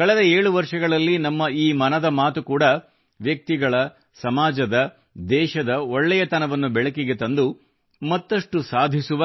ಕಳೆದ 7 ವರ್ಷಗಳಲ್ಲಿ ನಮ್ಮ ಈ ಮನದ ಮಾತು ಕೂಡಾ ವ್ಯಕ್ತಿಗಳ ಸಮಾಜದ ದೇಶದ ಒಳ್ಳೆತನವನ್ನು ಬೆಳಕಿಗೆ ತಂದು ಮತ್ತಷ್ಟು ಸಾಧಿಸುವ